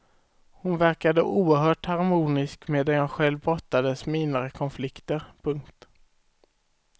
Hon verkade oerhört harmonisk medan jag själv brottades med inre konflikter. punkt